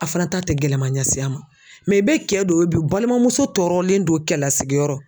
A fana ta tɛ gɛlɛma ɲɛsin a ma i bɛ kɛ don ye bi u balimamuso tɔɔrɔlen don kɛlasigiyɔrɔ.